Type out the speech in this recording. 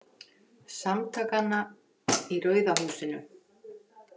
Samtakanna í Rauða húsinu.